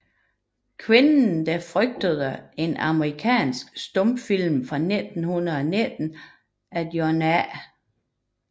Kvinden der frygtede er en amerikansk stumfilm fra 1919 af John A